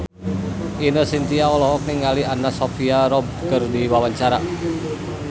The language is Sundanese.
Ine Shintya olohok ningali Anna Sophia Robb keur diwawancara